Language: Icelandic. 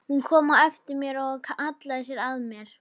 Hún kom á eftir mér og hallaði sér að mér.